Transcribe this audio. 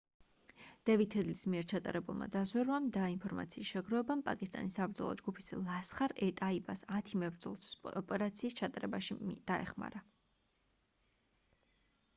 დევიდ ჰედლის მიერ ჩატარებულმა დაზვერვამ და ინფორმაციის შეგროვებამ პაკისტანის საბრძოლო ჯგუფის ლასხარ-ე-ტაიბას 10 მებრძოლს ოპერაციის ჩატარებაში დაეხმარა